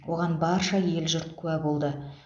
оған барша ел жұрт куә болды